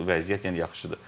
Çox vəziyyət yəni yaxşıdır.